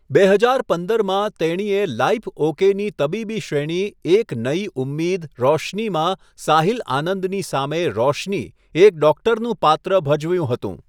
બે હજાર પંદરમાં, તેણીએ લાઇફ ઓકેની તબીબી શ્રેણી એક નયી ઉમ્મીદ રોશનીમાં સાહિલ આનંદની સામે રોશની, એક ડોક્ટરનું પાત્ર ભજવ્યું હતું.